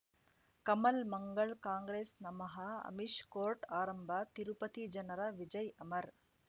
ಕಮಲ್ ಮಂಗಳ್ ಕಾಂಗ್ರೆಸ್ ನಮಃ ಅಮಿಷ್ ಕೋರ್ಟ್ ಆರಂಭ ತಿರುಪತಿ ಜನರ ವಿಜಯ್ ಅಮರ್